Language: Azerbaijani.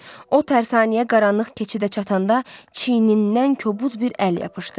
O tərsanəyə qaranlıq keçidə çatanda çiynindən kobud bir əl yapışdı.